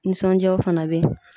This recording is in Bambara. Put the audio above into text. Nisɔndiyaw fana be ye.